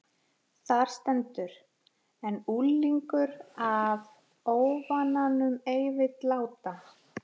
Þar stendur: En unglingur af óvananum ei vill láta